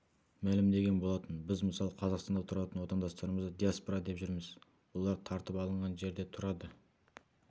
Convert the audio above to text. мәлімдеген болатын біз мысалы қазақстанда тұратын отандастарымызды диаспора деп жүрміз олар тартып алынған жерде тұрады